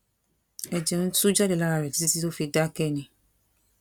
ẹjẹ ń tú jáde lára rẹ títí tó fi dákẹ ni